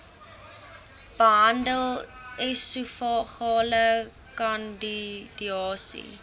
behandel esofageale kandidiase